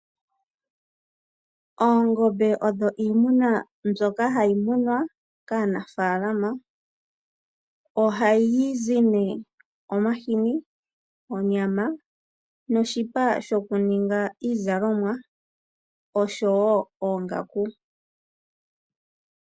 Oongombe odho iimuna mbyoka hayi munwa kaanafaalama. Ohayi zi nee omahini, onyama noshipa shokuninga iizalomwa nosho wo oongaku.